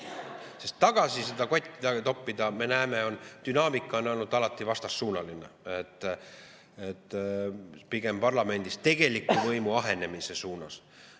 Sest tagasi seda kotti toppida, me näeme,, dünaamika on olnud alati vastassuunaline, pigem parlamendi tegeliku võimu ahenemise suunas.